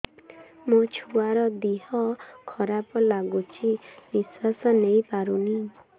ମୋ ଛୁଆର ଦିହ ଖରାପ ଲାଗୁଚି ନିଃଶ୍ବାସ ନେଇ ପାରୁନି